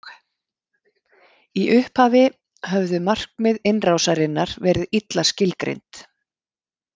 Í upphafi höfðu markmið innrásarinnar verið illa skilgreind.